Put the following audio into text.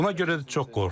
Buna görə də çox qorxuruq.